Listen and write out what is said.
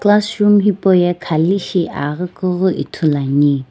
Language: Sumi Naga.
classroom hipou ye Khali shi agi kuii ithulu ane.